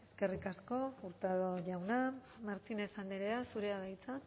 eskerrik asko hurtado jauna martínez andrea zurea da hitza